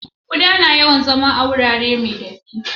Kuɗa na yawan zama a gurare mai datti